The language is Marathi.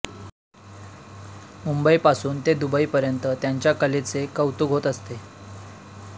मुंबईपासून ते दुबईपर्यंत त्यांच्या कलेचे कौतुक होत असते